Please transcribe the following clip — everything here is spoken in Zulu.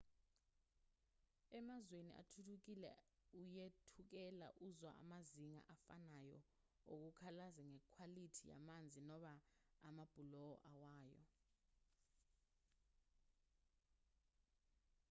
emazweni athuthukile uyethukela uzwa amazinga afanayo okukhalaza ngekhwalithi yamanzi noma amabhuloho awayo